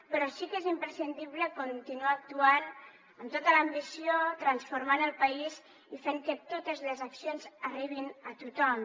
però sí que és imprescindible continuar actuant amb tota l’ambició transformant el país i fent que totes les accions arribin a tothom